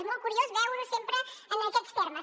és molt curiós veure ho sempre en aquests termes